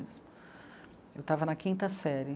Eu estava na quinta série.